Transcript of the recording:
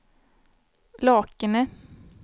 Lakene